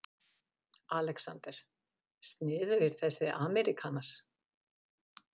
ALEXANDER: Sniðugir þessir ameríkanar.